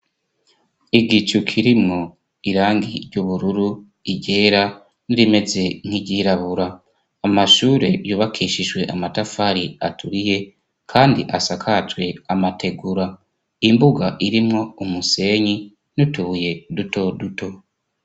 igicu kirimwo irangi ry'ubururu iryera nirimeze nk'iryirabura amashure yubakishijwe amatafari aturiye kandi asakajwe amategura imbuga irimwo umusenyi nutubuye duto duto